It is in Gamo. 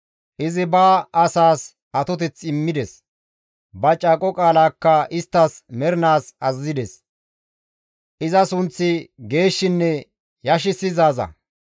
Izi ba asaas atoteth immides; ba caaqo qaalakka isttas mernaas azazides; iza sunththi geeshshinne yashissizaaza.